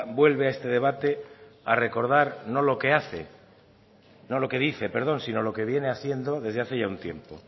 vuelve a este debate a recordar no lo que hace no lo que dice perdón si no lo que viene haciendo desde hace ya un tiempo